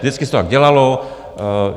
Vždycky se to tak dělalo.